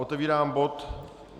Otevírám bod